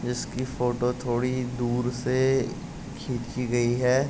जिस की फोटो थोड़ी दूर से खींची गयी है|